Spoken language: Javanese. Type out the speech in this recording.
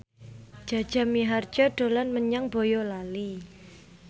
Jaja Mihardja dolan menyang Boyolali